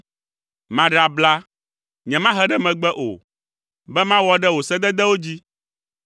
Maɖe abla, nyemahe ɖe megbe o, be mawɔ ɖe wò sededewo dzi.